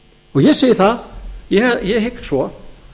ég segi það og ég hygg svo